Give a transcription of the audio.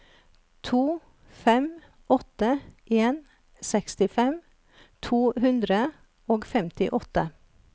to fem åtte en sekstifem to hundre og femtiåtte